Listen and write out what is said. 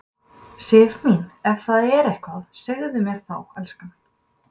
Sif mín, ef það er eitthvað, segðu mér það þá, elskan.